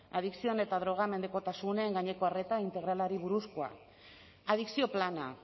adikzioen eta droga mendekotasunen gaineko arreta integralari buruzkoa adikzio plana